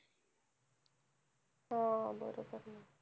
हो बरोबर आहे.